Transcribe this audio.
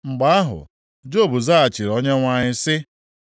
Mgbe ahụ, Job zaghachiri Onyenwe anyị sị: